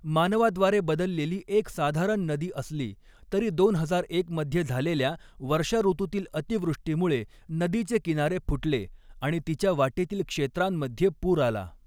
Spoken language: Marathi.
मानवाद्वारे बदललेली एक साधारण नदी असली तरी दोन हजार एक मध्ये झालेल्या वर्षाऋतूतील अतिवृष्टीमुळे नदीचे किनारे फुटले आणि तिच्या वाटेतील क्षेत्रांमध्ये पूर आला.